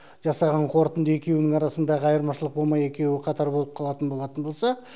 жасаған қорытынды екеуінің арасындағы айырмашылық болмай екеуі қатар болып қалатын болатын болса